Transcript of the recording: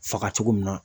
Faga cogo min na